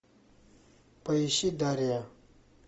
поищи дарья